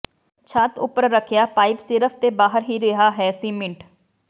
ਛੱਤ ਉੱਪਰ ਰੱਖਿਆ ਪਾਈਪ ਸਿਰਫ ਤੇ ਬਾਹਰ ਹੀ ਰਿਹਾ ਹੈ ਸੀਮਿੰਟ